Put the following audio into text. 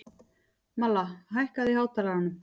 Malla, hækkaðu í hátalaranum.